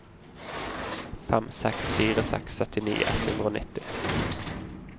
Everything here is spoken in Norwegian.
fem seks fire seks syttini ett hundre og nitti